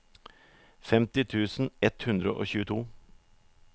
femti tusen ett hundre og tjueto